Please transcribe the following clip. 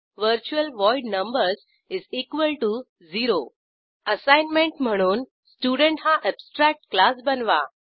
virtual void numbers0 assignment म्हणून student हा abstract class बनवा